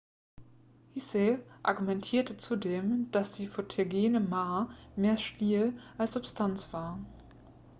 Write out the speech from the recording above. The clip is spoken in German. hsieh argumentierte zudem dass die photogene ma mehr stil als substanz war